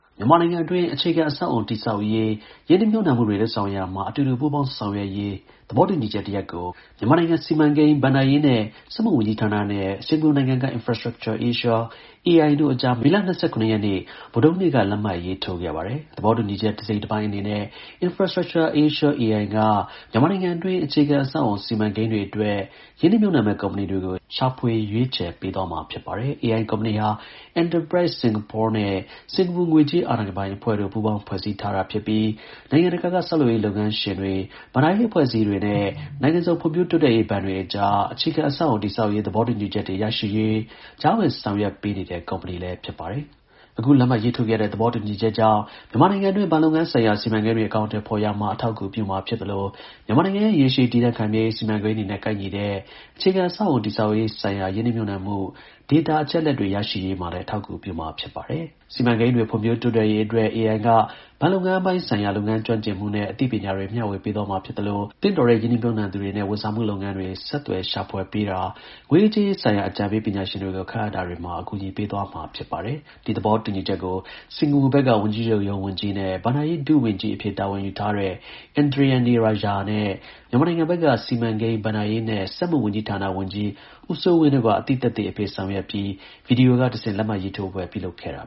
မြန်မာနိုင်ငံအတွင်း အခြေခံ အဆောက်အအုံတည်ဆောက်ရေးဆိုင်ရာ ရင်းနှီးမြှုပ်နှံမှုတွေ လုပ်ရာမှာ အတူတူ ပူးပေါင်း ဆောင်ရွက်ရေး သဘောတူညီချက်တစ်ရပ်ကို မြန်မာနိုင်ငံ စီမံကိန်း၊ ဘဏ္ဍာရေးနဲ့ စက်မှုဝန်ကြီးဌာန (MOPFI) နဲ့ စင်္ကာပူနိုင်ငံက Infrastructure Asia (IA) တို့အကြား မေလ ၂၇ ရက်နေ့ဗုဒ္ဓဟူးနေ့က လက်မှတ်ရေးထိုးခဲ့ပါတယ်။ သဘောတူညီချက် တစ်စိတ်တပိုင်းအနေနဲ့ Infrastructure Asia (IA) က မြန်မာနိုင်ငံတွင်း အခြေခံ အဆောက်အုံ စီမံကိန်းတွေအတွက် ရင်းနှီးမြှုပ်နှံမယ့် ကုမ္ပဏီတွေကို ရှာဖွေရွေးချယ်ပေးသွားမှာ ဖြစ်ပါတယ်။ AI ကုမ္ပဏီဟာ Enterprise Singapore နဲ့ စင်္ကာပူ ငွေကြး အာဏာပိုင်အဖွဲ့တို့ ပူးပေါင်း ဖွဲ့စည်းထားတာဖြစ်ပြီး နိုင်ငံတကာက ဆောက်လုပ်ရေးလုပ်ငန်းရှင်တွေ၊ ဘဏ္ဍာရေးအဖွဲ့အစည်းတွေနဲ့ နိုင်ငံစုံ ဖွံ့ဖြိုးတိုးတက်ရေး ဘဏ်တွေအကြား အခြေခံ အဆောက်အအုံ တည်ဆောက်ရေး သဘောတူညီချက်တွေ ရရှိရေး ကြားဝင် ဆောင်ရွက်ပေးတဲ့ ကုမ္ပဏီ ဖြစ်ပါတယ်။ အခု လက်မှတ်ရေးထိုးခဲ့တဲ့ သဘောတူညီချက်ကြောင့် မြန်မာနိုင်ငံအတွင်း ဘဏ်လုပ်ငန်းဆိုင်ရာ စီမံကိန်းတွေ အကောင်အထည် ဖော်ရာမှာ အထောက်အကူပြုမှာ ဖြစ်သလို မြန်မာနိုင်ငံရဲ့ ရေရှည်တည်တံ့ခိုင်မြဲရေး စီမံကိန်းတွေနဲ့ ကိုက်ညီတဲ့ အခြေခံ အဆောက်အအုံ တည်ဆောက်ရေး ဆိုင်ရာ ရင်းနှီးမြှုပ်နှံမှု DATA အချက်အလက်တွေ ရရှိရေးမှာလည်း အထောက်အကူ ပြုမှာ ဖြစ်ပါတယ်။ ဒီစီမံကိန်းတွေ ဖွံ့ဖြိုးတိုးတက်ရေး အတွက် (IA) က ဘဏ်လုပ်ငန်းပိုင်းဆိုင်ရာ လုပ်ငန်းကျွမ်းကျင်မှုနဲ့ အသိပညာတွေ မျှဝေပေးသွား မှာဖြစ်သလို သင့်တော်တဲ့ ရင်းနှီးမြှုပ်နှံသူတွေနဲ့ ဝန်ဆောင်မှု လုပ်ငန်းတွေ ဆက်သွယ် ရှာဖွေတာ၊ ငွေရေးကြေးရေးဆိုင်ရာ အကြံပေး ပညာရှင်တွေကို ခန့်အပ်တွေမှာ အကူအညီပေးသွားမှာဖြစ်ပါတယ်။ ဒီသဘောတူညီချက်ကို စင်္ကာပူနိုင်ငံဘက်က ဝန်ကြီးချုပ်ရုံး ဝန်ကြီး နဲ့ ဘဏ္ဍာရေး ဒု ဝန်ကြီးအဖြစ် တာဝန်ယူထားတဲ့ Indranee Rajah က အသိသက်သေအဖြစ်ဆောင်ရွက်ပြီး ဗွီဒီယိုက တဆင့် လက်မှတ်ရေးထိုးပွဲပြုလုပ်ခဲ့ကြတာ